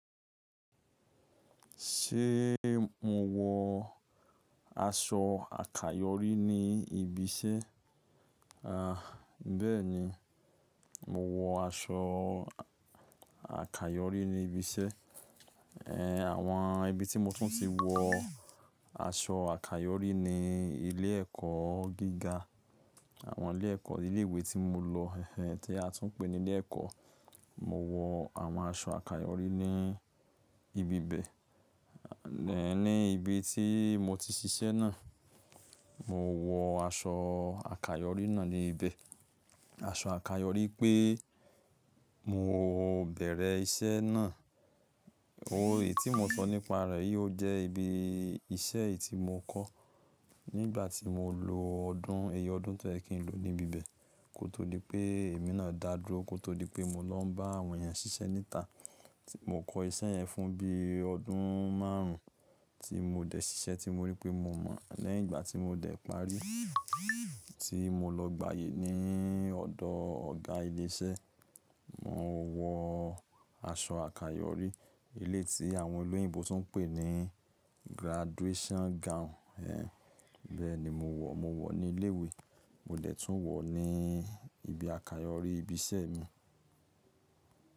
Ṣé mo wọ aṣọ àkayòrí ní ibi iṣẹ́? À, bẹ́ẹ̀ni, mo wọ aṣọ àkayòrí ní ibi iṣẹ́. Ehn, àwọn ibi tí mo tún ti wọ aṣọ àkayòrí ni ilé ẹ̀kọ́ gíga, àwọn ilé ẹ̀kọ́, ilé ìwé tí mo lọ, ehn tí a tún pè ní ilé ẹ̀kọ́. Mo wọ àwọn aṣọ àkayòrí ní ibi bẹ́ẹ̀. Ehn, ní ibi tí mo ti ṣiṣẹ́ náà, mo wọ aṣọ àkayòrí náà ní ibẹ. Aṣọ àkayòrí pé mo bẹ̀rẹ̀ iṣẹ́ náà. O, èyí tí mo sọ nípa rẹ̀ yí ó jẹ́ ibi iṣẹ́ èyí tí mo kọ́ nígbà tí mo lo ọdún, èyí ọdún tó ẹ̀yin kí n lo níbi bẹ́ẹ̀. Kótó dipé èmi náà dàrú, kótó dipé mo lọ bá àwọn ènìyàn ṣiṣẹ́ níta tí mo kọ́ iṣẹ́ yẹn fún bí i ọdún márùn ún tí mo dẹ̀ ṣiṣẹ́ tí mo rí pé mo mọ̀. Lẹ́yìn ìgbà tí mo dẹ̀ parí, tí mo lọ gbàyè ní ọ̀dọ̀ ọ̀gá ilé iṣẹ́, mo wọ aṣọ àkayòrí. Ilé tí àwọn olóyìnbo tún pè ní (graduation gown). Ehn, bẹ́ẹ̀ni mo wọ̀, mo wọ̀ ní ilé ìwé, mo dẹ̀ tún wọ̀ ní ibi àkayòrí ibi iṣẹ́ mi.